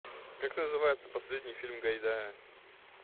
как называется последний фильм гайдая